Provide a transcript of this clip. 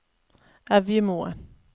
Evjemoen